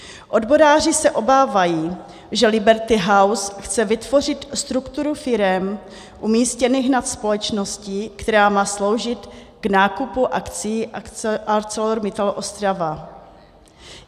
Odboráři se obávají, že Liberty House chce vytvořit strukturu firem umístěných nad společností, která má sloužit k nákupu akcií ArcelorMittal Ostrava.